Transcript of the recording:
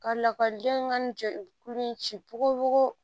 Ka lakɔlidenw ka ni kulu in ci pogo